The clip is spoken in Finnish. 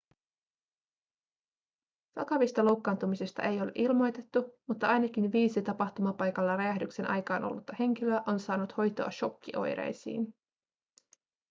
vakavista loukkaantumisista ei ole ilmoitettu mutta ainakin viisi tapahtumapaikalla räjähdyksen aikaan ollutta henkilöä on saanut hoitoa shokkioireisiin